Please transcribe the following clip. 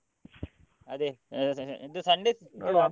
ಅದೇ ಇದು Sunday ಸ .